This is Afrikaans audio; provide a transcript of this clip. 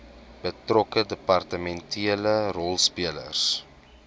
betrokke departementele rolspelers